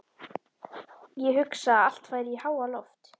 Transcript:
Ég hugsa að allt færi í háaloft.